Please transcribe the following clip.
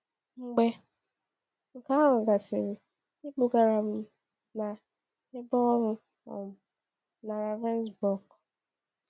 Mgbe nke ahụ gasịrị, ebugara m na ebe ọnwụ um na Ravensbrück.